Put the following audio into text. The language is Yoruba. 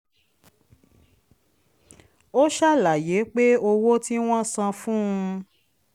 ó ṣàlàyé pé owó tí wọ́n san fún